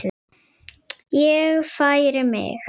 Ég færi mig.